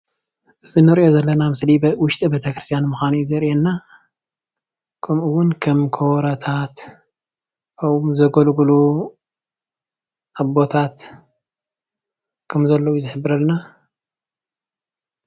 እዚ ንሪኦ ዘለና ምስሊ ዉሽጢ ቤተክርስትያን ምኮኑ እዩ ዘሪአና ከምኡዉን ከም ከበሮታት ኣብኡ ዘገልግሉ ኣቦታት ከምዘለዉ እዩ ዝሕብረልና፡፡